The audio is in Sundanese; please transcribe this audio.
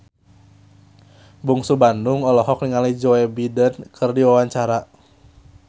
Bungsu Bandung olohok ningali Joe Biden keur diwawancara